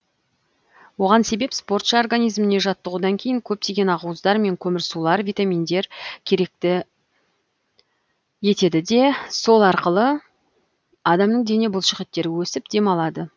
оған себеп спортшы организміне жаттығудан кейін көптеген ақуыздар мен көмірсулар витаминдер керекті етеді де сол арқылы адамның дене бұлшықеттері өсіп демалады